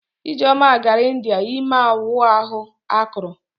Ijeoma gara India ime ịwa ahụ akụrụ.